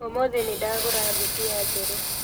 ũmũthĩ nĩndagũra ngobia njerũ